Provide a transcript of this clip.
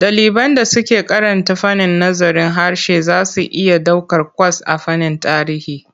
Ɗaliban da suke karanta fannin nazarin harshe za su iya ɗaukar kwas a fannin tarihi.